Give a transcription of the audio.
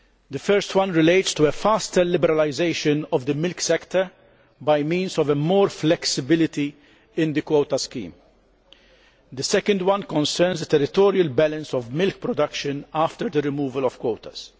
The first relates to a faster liberalisation of the milk sector by means of more flexibility in the quota scheme. The second concerns the territorial balance of milk production after the removal of quotas.